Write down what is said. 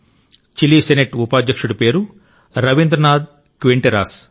Chile senate ఉపాధ్యక్షుడి పేరు Rabindranath Quinteros